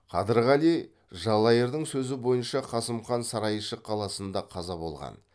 қадырғали жалайырдың сөзі бойынша қасым хан сарайшық қаласында қаза болған